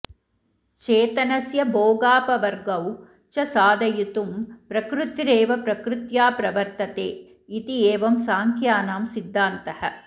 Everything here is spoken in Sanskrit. चेतनस्य भोगापवर्गौ च साधयितुं प्रकृतिरेव प्रकृत्या प्रवर्तते इति एवं साङ्ख्यानां सिद्धान्तः